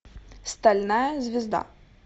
стальная звезда